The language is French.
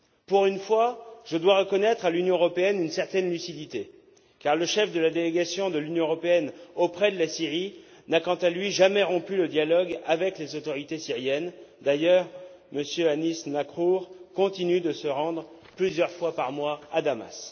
Pour une fois, je dois reconnaître à l'Union européenne une certaine lucidité, car le chef de la délégation de l'Union européenne auprès de la Syrie n'a, quant à lui, jamais rompu le dialogue avec les autorités syriennes. D'ailleurs, M. Anis Nacrour continue de se rendre plusieurs fois par mois à Damas.